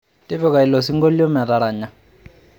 tipika ilo sinkolio metaranya